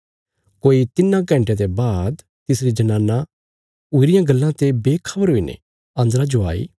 कोई तिन्नां घण्टयां ते बाद तिसरी जनाना हुई रियां गल्लां ते बेखबर हुईने अन्दरा जो आई